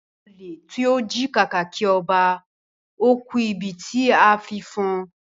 Ole tí o ji kàkàkí ọba, o ku ibití a tí fọn